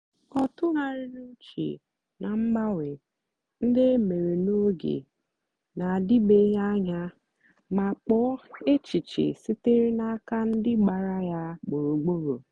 ọ tụ̀ghàrị̀rì ùchè ná mgbanwe ndí e mèrè n’ógè na-àdị̀bèghị́ anya mà kpọ̀ọ́ èchìchè sìtèrè n’àka ndí gbàra ya gbùrùgbùrù.